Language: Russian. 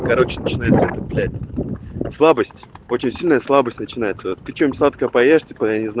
короче начинается блять слабость очень сильная слабость начинается причём садковое пони